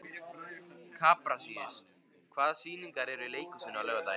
Kaprasíus, hvaða sýningar eru í leikhúsinu á laugardaginn?